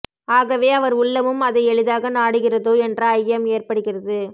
ஆகவே அவர் உள்ளமும் அதை எளிதாக நாடுகிறதோ என்ற ஐயம் ஏற்படுகிறது